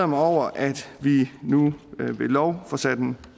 mig over at vi nu ved lov får sat en